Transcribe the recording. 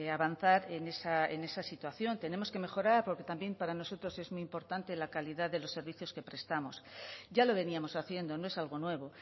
avanzar en esa situación tenemos que mejorar porque también para nosotros es muy importante la calidad de los servicios que prestamos ya lo veníamos haciendo no es algo nuevo